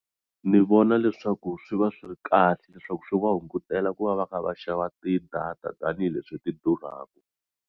Ni vona leswaku swi va swi ri kahle leswaku swi va hungutela ku va va kha va xava tidata tanihileswi ti durhaka.